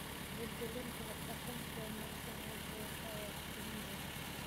Wacyigelinta hab-dhaqanka wanaagsan ee beeraha ayaa la fulin doonaa.